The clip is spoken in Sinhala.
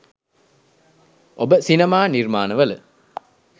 ඔබ සිනමා නිර්මාණවල